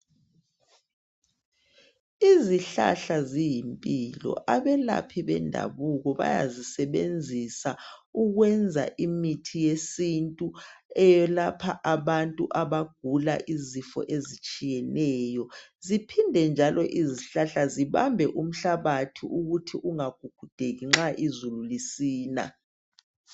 Izihlahla ziyimpilo abelaphi bendabuko bayazisebenzisa ukwenza imithi yesintu eyelapha abantu abagula imikhuhlane etshiyeneyo ziphinde njalo zibambe umhlabathi ukuze ungagugudeki nxa izulu lisina.